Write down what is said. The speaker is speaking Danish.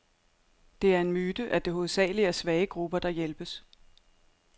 Det er en myte, at det hovedsageligt er svage grupper, der hjælpes.